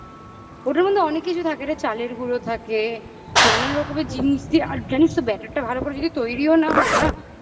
ওটার মধ্যে অনেক কিছু থাকে এটা চালের গুঁড়ো থাকে নানান রকমের জিনিস দিয়ে আর জানিস তো better টা ভালো করে যদি তৈরিও না হয় না